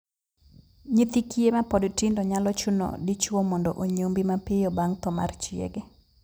Nyithi kiye mapod tindo nyalo chuno dichwo mondo onyombi mapiyo bang' thoo mar chiege.